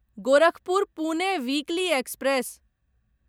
Gorakhpur Pune weekly express